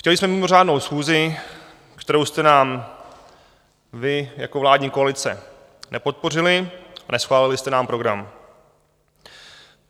Chtěli jsme mimořádnou schůzi, kterou jste nám vy jako vládní koalice nepodpořili, a neschválili jste nám program.